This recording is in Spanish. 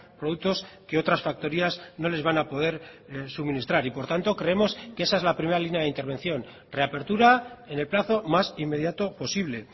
productos que otras factorías no les van a poder suministrar y por tanto creemos que esa es la primera línea de intervención reapertura en el plazo más inmediato posible